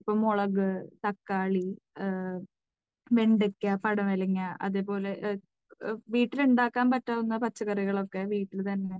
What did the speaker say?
ഇപ്പോൾ മുളക്, തക്കാളി, വെണ്ടയ്ക്ക, പടവലങ്ങ അതുപോലെ വീട്ടിൽ ഉണ്ടാക്കാൻ പറ്റുന്ന പച്ചക്കറികളൊക്കെ വീട്ടിൽ തന്നെ